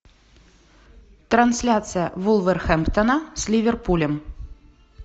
трансляция вулверхэмптона с ливерпулем